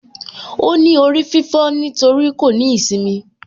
Óní orí fífó nítorí kò ní īsimi